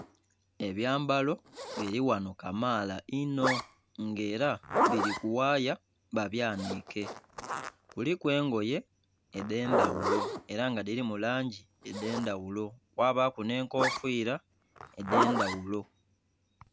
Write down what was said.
Enyambalo biri ghano kamaala inho nga era biri ku waaya ba byanhike, kuliku engoye edhendhaghulo era nga dhirimu langi edhendhaghulo kwabaku nhe enkofira edhendhaghulo.